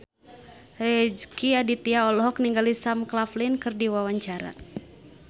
Rezky Aditya olohok ningali Sam Claflin keur diwawancara